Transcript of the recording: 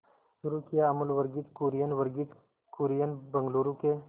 शुरू किया अमूल वर्गीज कुरियन वर्गीज कुरियन बंगलूरू के